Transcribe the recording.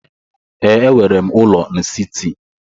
Ee, enwere m ụlọ n'siti.